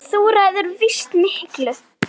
Þú ræður víst miklu.